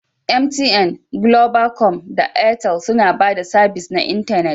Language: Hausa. MTN, Globacom da Airtel suna ba da sabis na intanet